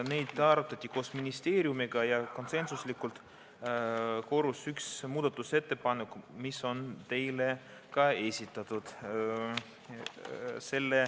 Neid arutati koos ministeeriumiga ja konsensuslikult koorus sealt üks muudatusettepanek, mis on teile ka esitatud.